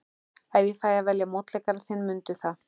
En ég fæ að velja mótleikara þinn, mundu það.